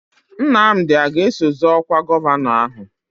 Nnamdi a ga-eso zọọ ọkwa gọvanọ ahụ?